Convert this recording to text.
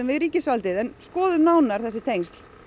við ríkisvaldið en skoðum nánar þessi tengsl